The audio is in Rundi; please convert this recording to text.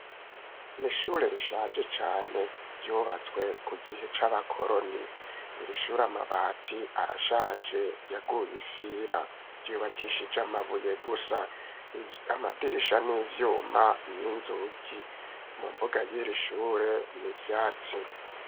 N'ishure rishaje cane ryubatswe ku gihe c'abakoroni irishure amabati arashaje yaguye ifira ryubakishije amabuye gusa amadirisha n'ivyuma n'inzugi mu mbuga yiri shure n'ivyatsi.